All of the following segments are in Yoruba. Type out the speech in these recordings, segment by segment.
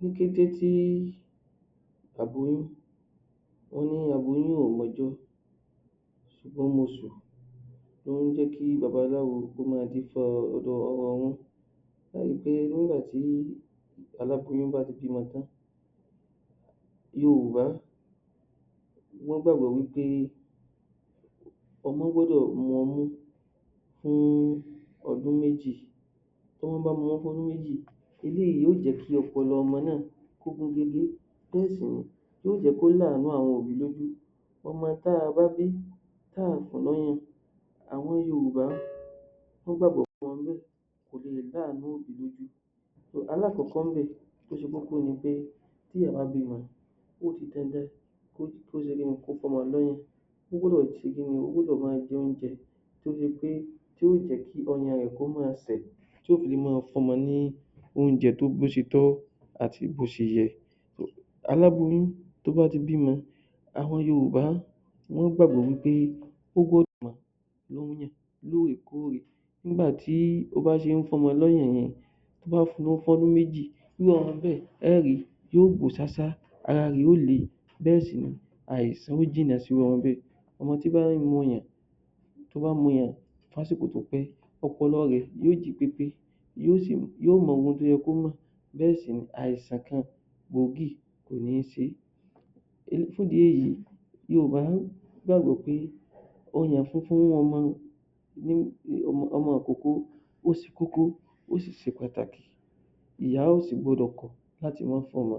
Ní kété tí Ló jẹ́ kí babaláwo kó máa dífá ọrọrún ẹ ó ri pé nígbà tí aláboyún bá ti bímọ tán yorùbá wọ́n gbàgbọ́ wí pé ọmọ gbọ́dọ̀ mu ọmú fún ọdún méjì tí wọ́n bá mú fún ọdún méjì eléyìí yóò jẹ́ kí ọpọlọ ọmọ náà kó pegedé kó sì yóò jẹ́ kó ní àànú àwọn òbí lójú ọmọ tí a bá bí tá a ò fún lọ́mú àwọn yorùbá wọ́n gbàgbọ́ alákọ̀kọ́ ńbẹ̀ tó ṣe kókó ni pé tí èèyàn bá bímọ ó gbọ́dọ̀ máa jẹ oúnjẹ dé bi pé yóò jẹ́ kí ọyàn rẹ̀ kó máa sẹ̀ tí yóò fi máa fún ọmọ ní oúnjẹ bí ó ṣe tọ́ àti bó ṣe yẹ aláboyún tó bá ti bímọ àwọn yorùbá wọ́n gbàgbọ́ wí pé lóòrèkorè nígbà tí ó bá ṣe ń fún ọmọ lọ́yàn yẹn tó bá fún fọdún méjì irú ọmọ bẹ́ẹ̀ ẹ ó ri yóò gbò ṣáṣá ọmọ tó bá ń mu ọyàn fún àsìkò tó pẹ́ ọpọlọ rẹ̀ yó jì pépé yóò mọhun tó yẹ kó mọ̀ bẹ́ẹ̀ sì ni àìsàn kan gbòógì kò ní ṣe fún ìdí èyí yorùbá, wọ́n gbàgbọ́ pé ọyàn fúnfún ọmọ ní ọmọ ìkókó ó ṣe kókó ó sì ṣe pàtàkì ìyá ò sì gbọdọ̀ kọ̀ láti fún ọmọ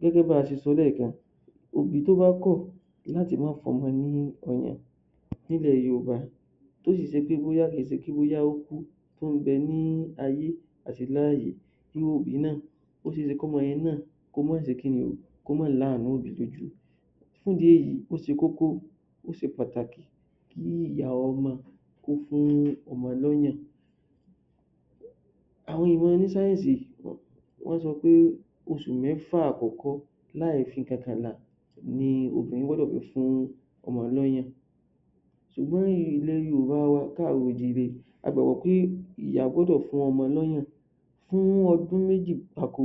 gẹ́gẹ́ bí a ṣe sọ lẹ́ẹ̀kan òbí tó bá kọ̀ láti má fún ọmọ ní ọyàn nílẹ̀ yorùbá tó sì ṣe pé kì í ṣe pé bóyá ó kú tí ń bẹ ní ayé àti láàyè òbí náà ó ṣe é ṣe kí ọmọ yẹn náà kó má ní àànú òbí lójú fún ìdí èyí ó ṣe kókó ó ṣe pàtàkì kí ìyá ọmọ kó fún ọmọ lọ́yàn àwọn èèyàn oní sáyẹ́nsì, wọ́n sọ pé oṣù mẹ́fà àkọ́kọ́ láì fi nǹkankan làá ni òbí gbọ́dọ̀ fi fún ọmọ lọ́yàn ṣùgbọ́n àwọn ọmọ ilẹ̀ káàrọ̀ o jíire a gbàgbọ́ pé ìyá gbọ́dọ̀ fún ọmọ lọ́yàn fún ọdún méjì gbáko